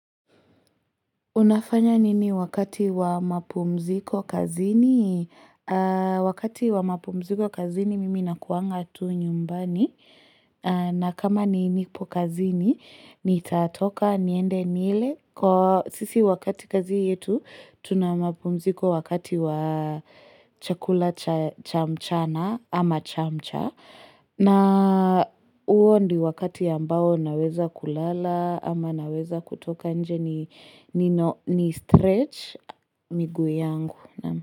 Unafanya nini wakati wa mapumziko kazini? Wakati wa mapumziko kazini, mimi na kuanga tu nyumbani. Na kama ni nipo kazini, ni tatoka niende nile. Sisi wakati kazi yetu, tuna mapumziko wakati wa chakula chamchana ama chamcha. Na huo ndiyo wakati ambao ninaweza kulala ama naweza kutoka nje ni stretch miguu yangu.